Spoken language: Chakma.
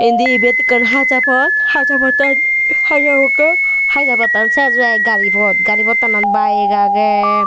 Indi ibet ekkan hacha pot hacha pottan haja pokka haja pottan sej oi ai gari pot gari pottanot bike age.